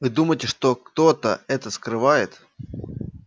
вы думаете что кто-то это скрывает